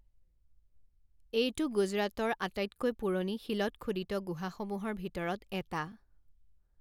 এইটো গুজৰাটৰ আটাইতকৈ পুৰণি শিলত খোদিত গুহাসমূহৰ ভিতৰত এটা।